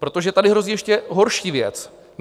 Protože tady hrozí ještě horší věc.